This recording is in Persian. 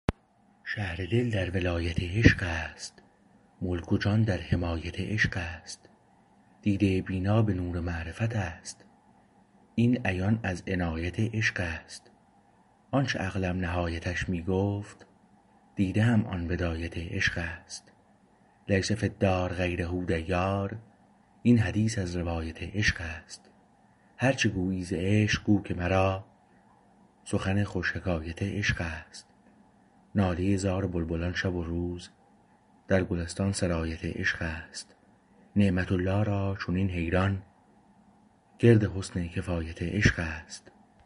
شهر دل در ولایت عشق است ملک و جان در حمایت عشق است دیده بینا به نور معرفت است این عیان از عنایت عشق است آنچه عقلم نهایتش می گفت دیده ام آن بدایت عشق است لیس فی الدار غیره دیار این حدیث از روایت عشق است هرچه گویی ز عشق گو که مرا سخن خوش حکایت عشق است ناله زار بلبلان شب و روز در گلستان سرایت عشق است نعمت الله را چنین حیران گرد حسن کفایت عشق است